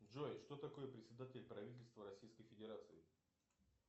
джой что такое председатель правительства российской федерации